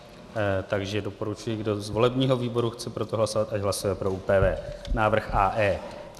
Takže doporučuji, kdo z volebního výboru chce pro to hlasovat, ať hlasuje pro ÚPV návrh AE.